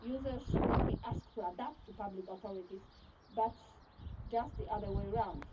Users should not be asked to adapt to public authorities, but the other way round.